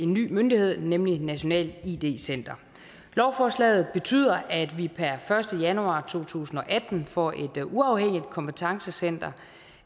ny myndighed nemlig nationalt id center lovforslaget betyder at vi per første januar to tusind og atten får et uafhængigt kompetencecenter